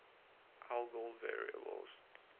algol variables